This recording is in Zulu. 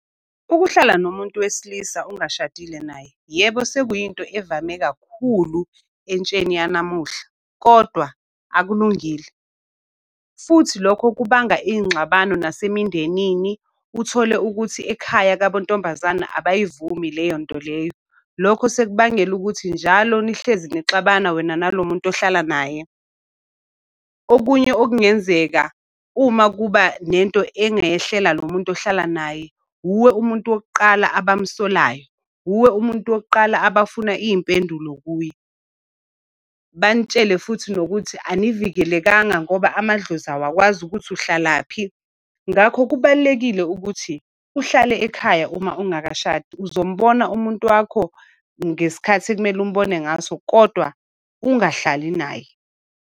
Ukuhlala nomuntu wesilisa ungashadile naye, yebo sekuyinto evame kakhulu entsheni yanamuhla kodwa akulungile. Futhi lokho kubanga iy'ngxabano nasemindenini. Uthole ukuthi ekhaya kabo ntombazane abayivume leyo nto leyo. Lokho sekubangela ukuthi njalo nihlezi nixabana wena nalo muntu ohlala naye. Okunye okungenzeka, uma kuba nento engayehlela lo muntu ohlala naye wuwe umuntu wokuqala abamsolayo. Wuwe umuntu wokuqala abafuna iy'mpendulo kuye. Banitshele futhi nokuthi anivikelekanga ngoba amadlozi awakwazi ukuthi uhlalaphi. Ngakho kubalulekile ukuthi uhlale ekhaya uma ungakashadi. Uzombona umuntu wakho ngesikhathi ekumele umbone ngaso, kodwa ungahlali naye.